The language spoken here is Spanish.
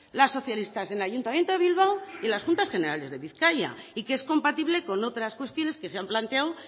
los socialistas en el ayuntamiento de bilbao y en las juntas generales de bizkaia y que es compatible con otras cuestiones que se han planteado